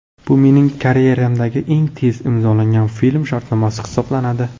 Bu mening karyeramdagi eng tez imzolagan film shartnomasi hisoblanadi.